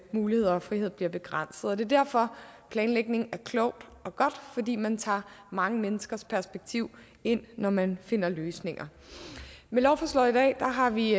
muligheder og frihed bliver begrænset det er derfor at planlægning er klogt og godt fordi man tager mange menneskers perspektiv ind når man finder løsninger med lovforslaget i dag har vi